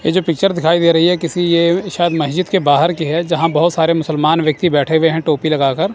ये जो पिक्चर दिखाई दे रही है ये किसी शायद मस्जिद के बाहर की है जहां बहोत सारे मुसलमान व्यक्ति बैठे हुए हैं टोपी लगाकर।